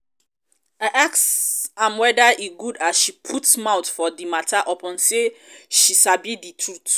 i ask am weda e good as she no put mouth for di mata upon sey she sabi di trut.